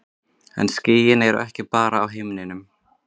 En skýin eru ekki bara á himninum.